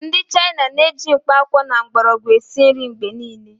Ndị China na-eji mkpakwụkwọ na mgbọrọgwụ esi nri mgbe niile